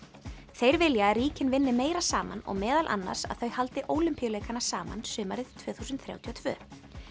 þeir vilja að ríkin vinni meira saman og meðal annars að þau haldi Ólympíuleikana saman sumarið tvö þúsund þrjátíu og tvö